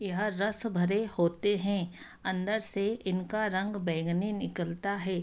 यह रस भरे होते हैं। अंदर से इनका रंग बैंगनी निकलता है।